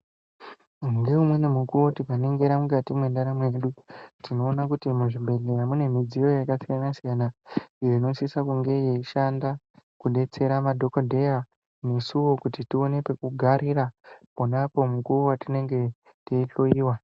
Ngeumweni mukuwo tikaningira mukati mwendaramo yedu, tinoona kuti muzvibhedhleya mune midziyo yakasiyana-siyana, iyo inosisa kunge yeishanda, kudetsera madhokodheya nesuwo kuti tione pekugarira, ponapo mukuwo wetinenge teihloyiwa.